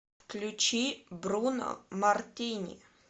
включи бруно мартини